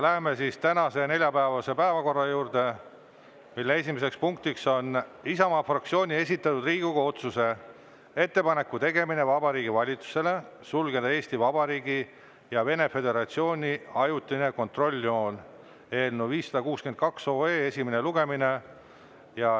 Läheme tänase, neljapäevase päevakorra juurde, mille esimene punkt on Isamaa fraktsiooni esitatud Riigikogu otsuse "Ettepaneku tegemine Vabariigi Valitsusele sulgeda Eesti Vabariigi ja Vene Föderatsiooni ajutine kontrolljoon" eelnõu 562 esimene lugemine.